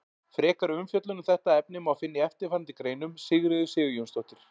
Frekari umfjöllun um þetta efni má finna í eftirfarandi greinum: Sigríður Sigurjónsdóttir.